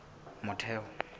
motheo